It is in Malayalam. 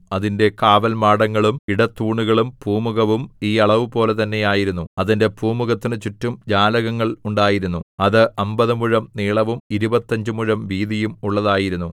അതിന്റെ കാവൽമാടങ്ങളും ഇടത്തൂണുകളും പൂമുഖവും ഈ അളവുപോലെ തന്നെ ആയിരുന്നു അതിന്റെ പൂമുഖത്തിനു ചുറ്റും ജാലകങ്ങൾ ഉണ്ടായിരുന്നു അത് അമ്പത് മുഴം നീളവും ഇരുപത്തഞ്ച് മുഴം വീതിയും ഉള്ളതായിരുന്നു